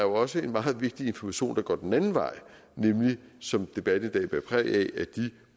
også en meget vigtig information der går den anden vej nemlig som debatten i dag bærer præg